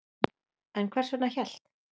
En hvers vegna hélt